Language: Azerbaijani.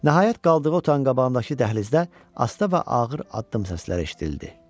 Nəhayət, qaldığı otağın qabağındakı dəhlizdə asta və ağır addım səsləri eşidildi.